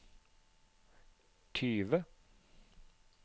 tyve